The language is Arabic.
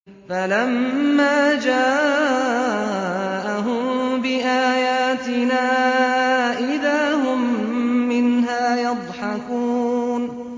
فَلَمَّا جَاءَهُم بِآيَاتِنَا إِذَا هُم مِّنْهَا يَضْحَكُونَ